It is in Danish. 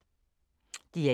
DR1